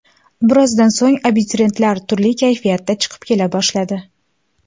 Birozdan so‘ng, abituriyentlar turli kayfiyatda chiqib kela boshladi.